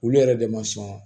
Olu yɛrɛ de ma sɔn